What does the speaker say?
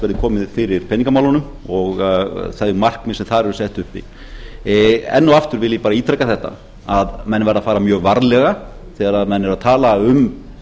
yrði komið fyrir peningamálunum og þau markmið sem þar eru sett uppi enn og aftur vil ég bara ítreka þetta menn verða að fara mjög varlega þegar menn eru að tala um